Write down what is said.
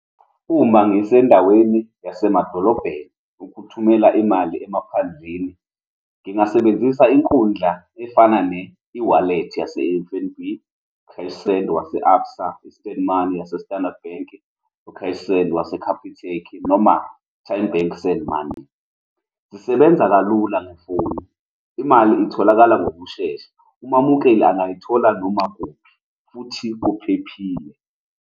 Uma ngisendaweni yasemadolobheni, ukuthumela imali emaphandleni, ngingasebenzisa inkundla efana ne-eWallet yase-F_N_B, u-cash send wase-ABSA, i-instant money yase-Standard Bank, u-cash send wase-Capitec noma Tymebank send money. Zisebenza kalula ngefoni. Imali itholakala ngokushesha, umamukele angayithola noma kuphi, futhi kuphephile.